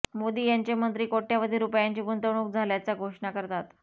मोदी याचे मंत्री कोटय़वधी रुपयांची गुंतवणूक झाल्याच्या घोषणा करतात